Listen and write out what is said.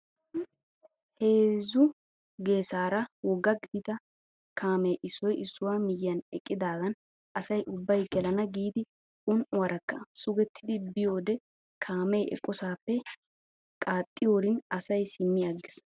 Heezzu geesaara woggaa gidida kaamee issoy issuwaa miyiyaan eqqidaagan asay ubbay gelana giidi un"uwaarakka sugettidi biyoode kaamee eqqosaappe qaxxiyoorin asay simmi aggis!